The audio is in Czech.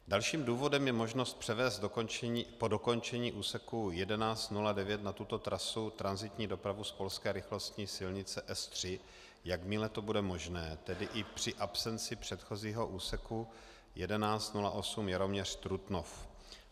Dalším důvodem je možnost převést po dokončení úseku 1109 na tuto trasu tranzitní dopravu z polské rychlostní silnice S3, jakmile to bude možné, tedy i při absenci předchozího úseku 1108 Jaroměř-Trutnov.